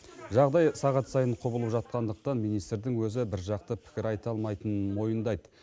жағдай сағат сайын құбылып жатқандықтан министрдің өзі біржақты пікір айта алмайтынын мойындайды